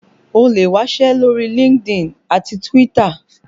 O lè wásẹ́ lórí LinkedIn àti Twitter